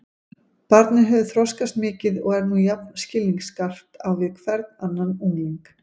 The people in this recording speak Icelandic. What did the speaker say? Barnið hefur þroskast mikið og er nú jafn skilningsskarpt á við hvern annan ungling.